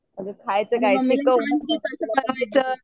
अगं खायचं काय शिकव